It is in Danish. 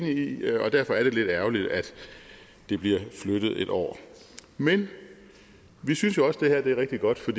i og derfor er det lidt ærgerligt at det bliver flyttet et år men vi synes jo også det er rigtig godt for